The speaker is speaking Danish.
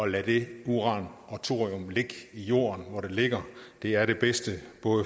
lade det uran og thorium ligge i jorden hvor det ligger det er det bedste